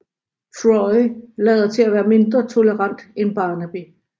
Troy lader til at være mindre tolerant end Barnaby